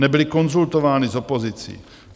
Nebyly konzultovány s opozicí.